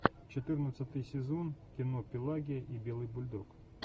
четырнадцатый сезон кино пелагия и белый бульдог